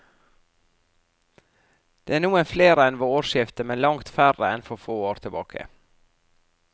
Det er noen flere enn ved årsskiftet, men langt færre enn for få år tilbake.